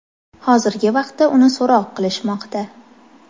Hozirgi vaqtda uni so‘roq qilishmoqda.